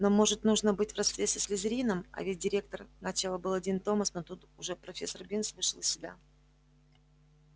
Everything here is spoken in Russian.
но может нужно быть в родстве со слизерином а ведь директор начал было дин томас но тут уж профессор бинс вышел из себя